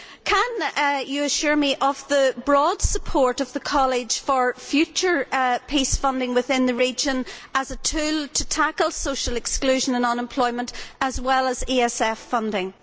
Can you assure me of the broad support of the College for future PEACE funding within the region as a tool to tackle social exclusion and unemployment, as well as ESF funding?